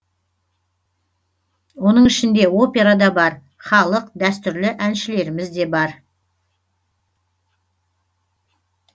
оның ішінде опера да бар халық дәстүрлі әншілеріміз де бар